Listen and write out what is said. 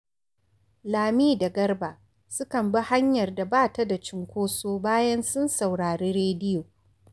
Lami da Garba sukan bi hanyar da ba ta da cunkoso bayan sun saurari rediyo